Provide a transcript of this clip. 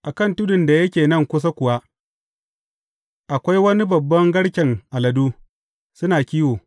A kan tudun da yake nan kusa kuwa, akwai wani babban garken aladu, suna kiwo.